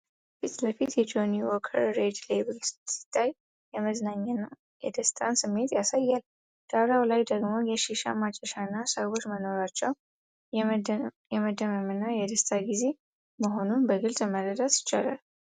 ከፊት ለፊት የጆኒ ዎከር ሬድ ሌብል ሲታይ፣ የመዝናኛ እና የደስታ ስሜትን ያሳያል። ዳራው ላይ ደግሞ የሺሻ ማጨሻና ሰዎች መኖራቸው፣ የመደመምና የደስታ ግዜ መሆኑን በግልጽ መረዳት ይቻላል።